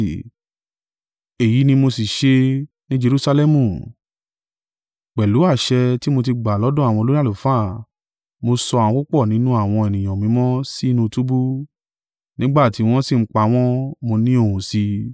Èyí ni mo sì ṣe ni Jerusalẹmu. Pẹ̀lú àṣẹ tí mo tí gba lọ́dọ̀ àwọn olórí àlùfáà, mo sọ àwọn púpọ̀ nínú àwọn ènìyàn mímọ́ sí inú túbú, nígbà tí wọ́n sí ń pa wọ́n, mo ní ohùn sí i.